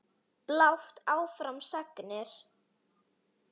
Blátt áfram sagnir.